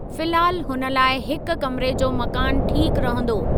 फिलहाल हुन लाइ हिकु कमिरे जो मकान ठीक रहंदो।